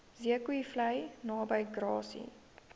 zeekoevlei naby grassy